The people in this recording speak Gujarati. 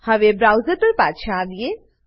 હવે બ્રાઉઝર પર પાછા આવીએ